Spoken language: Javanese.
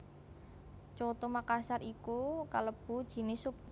Coto Makassar iku kalebu jinis sup